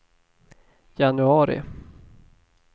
januari